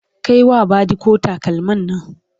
Kai wa badiko takalmin Nan!